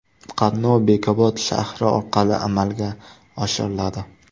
Qatnov Bekobod shahri orqali amalga oshiriladi.